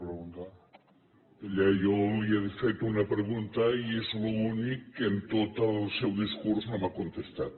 miri jo li he fet una pregunta i és l’únic que en tot el seu discurs no m’ha contestat